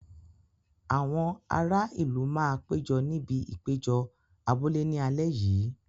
Àwọn ará ìlú máa péjọ níbi ìpéjọ abúlé ní alẹ́ yìí.